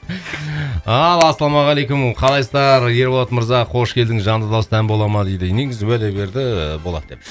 ал ассалаумағалейкум қалайсыздар ерболат мырза қош келдіңіз жанды дауыста ән бола ма дейді негізі уәде берді болады деп